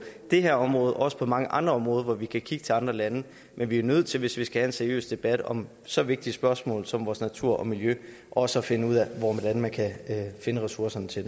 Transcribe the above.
det her område også på mange andre områder hvor vi kan kigge til andre lande men vi er nødt til hvis vi skal have en seriøs debat om så vigtige spørgsmål som vores natur og miljø også at finde ud af hvordan man kan finde ressourcerne til